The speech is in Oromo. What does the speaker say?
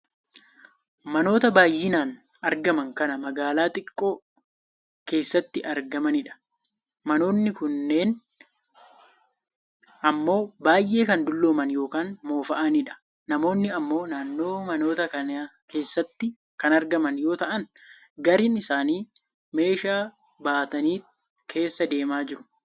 Manoota baayyinaan argaman kan magaalaa xiqqoo keessatti argamanidha. Manoonni kunneen ammoo baayyee kan dullooman yookaan moofa'anidha. Namoonni ammoo naannoo manoota kanaa keessatti kan argaman yoo ta'an gariin isaanii meeshaa baataniit keessa deemaa jiru.